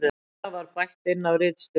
Texta var bætt inn af ritstjórn